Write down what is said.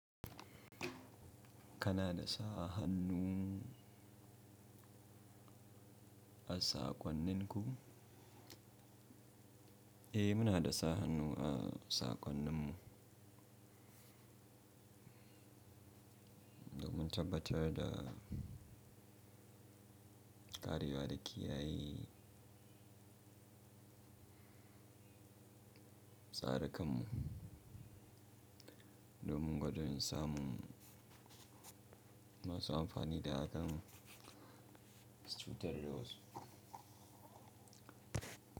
Kana da sa hannu a saƙonninku? Eh muna da sa hannu a saƙonninmu. Domin tabbatar da ƙarewa da kiyaye tsari kanmu. Domin gwado samun masu amfani da hakan su cutar da wasu.